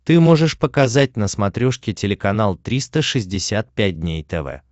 ты можешь показать на смотрешке телеканал триста шестьдесят пять дней тв